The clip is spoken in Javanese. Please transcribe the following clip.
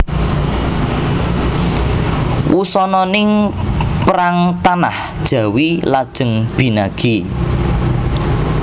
Wusananing perang tanah Jawi lajeng binagi